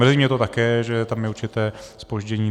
Mrzí mě to také, že tam je určité zpoždění.